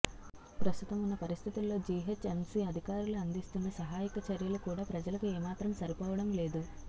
ప్రస్తుతం ఉన్న పరిస్థితుల్లో జిహెచ్ఎంసి అధికారులు అందిస్తున్న సహాయక చర్యలు కూడా ప్రజలకు ఏ మాత్రం సరిపోవడం లేదు